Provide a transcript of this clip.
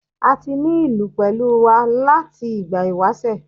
A ti ní ìlú pẹ̀lú wa láti ìgbà ìwásẹ̀.